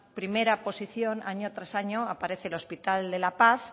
primera posición año tras año aparece el hospital de la paz